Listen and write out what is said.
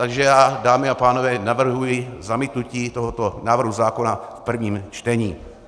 Takže já, dámy a pánové, navrhuji zamítnutí tohoto návrhu zákona v prvním čtení.